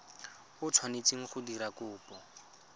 o tshwanetseng go dira kopo